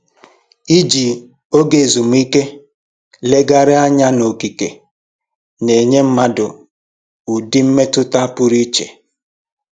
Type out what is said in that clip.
Iji oge ezumike legharịanya n'okike na-enye mmadụ ụdị mmetụta pụrụ iche